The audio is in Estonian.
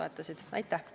Aitäh!